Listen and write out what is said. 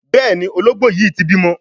Béèni Ológbò yí tí bímọ.